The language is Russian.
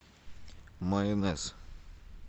майонез